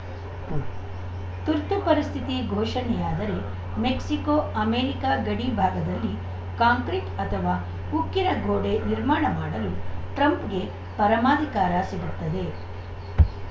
ಉಂ ತುರ್ತು ಪರಿಸ್ಥಿತಿ ಘೋಷಣೆಯಾದರೆ ಮೆಕ್ಸಿಕೋಅಮೇರಿಕ ಗಡಿ ಭಾಗದಲ್ಲಿ ಕಾಂಕ್ರೀಟ್‌ ಅಥವಾ ಉಕ್ಕಿನ ಗೋಡೆ ನಿರ್ಮಾಣ ಮಾಡಲು ಟ್ರಂಪ್‌ಗೆ ಪರಮಾಧಿಕಾರ ಸಿಗುತ್ತದೆ